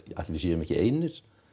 ætli við séum ekki einir